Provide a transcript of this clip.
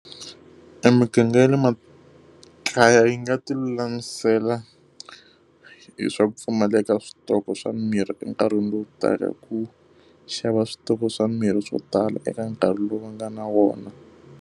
Emiganga ya le makaya yi nga ti lulamisela hi swa ku pfumaleka ka switoko swa mirhi enkarhini lowu taka hi ku xava switoko swa miri swo tala eka nkarhi lowu va nga na wona.